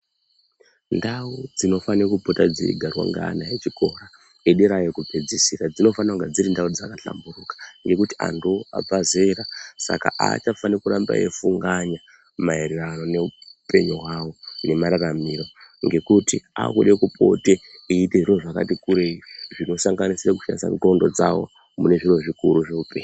Ndau dzinofane kupota dzeigarwa ngeana echikora edera yekupedzisira dzinofana kunga dziri ndau dzakahlamburuka ngekuti antuwo abva zera saka aachafani kuramba eifunganya maererano neupenyu hwawo nemararamiro ngekuti akude kupote eiite zviro zvakati kurei zvinosanganisira kushandisa ndxondo dzavo mune zviro zvikuru zveupenyu.